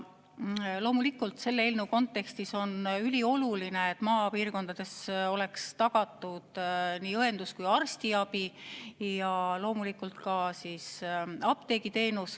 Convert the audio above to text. Loomulikult on selle eelnõu kontekstis ülioluline, et maapiirkondades oleks tagatud nii õendus‑ kui ka arstiabi ja loomulikult ka apteegiteenus.